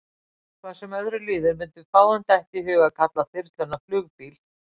Hvað sem öðru líður mundi fáum detta í hug að kalla þyrluna flugbíl.